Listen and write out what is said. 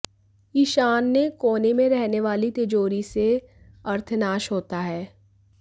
ईशान्य कोने में रहने वाली तिजोरी से अर्थनाश होता है